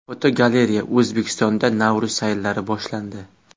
Fotogalereya: O‘zbekistonda Navro‘z sayllari boshlandi.